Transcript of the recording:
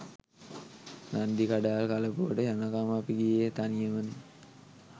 නන්දිකඩාල් කලපුවට යනකම් අපි ගියේ තනියමනෙ.